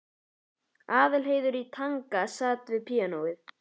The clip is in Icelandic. Aðalheiður í Tanga sat við píanóið.